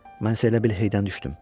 Mən isə elə bil heydən düşdüm.